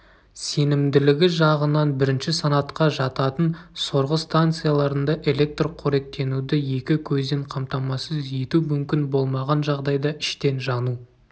сенімділігі жағынан бірінші санатқа жататын сорғы станцияларында электр қоректенуді екі көзден қамтамасыз ету мүмкін болмаған жағдайда іштен жану